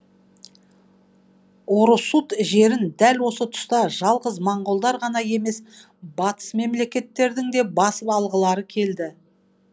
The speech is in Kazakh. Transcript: орұсут жерін дәл осы тұста жалғыз монғолдар ғана емес батыс мемлекеттердің де басып алғылары келді